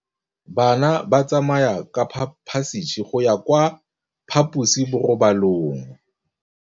Bana ba tsamaya ka phašitshe go ya kwa phaposiborobalong.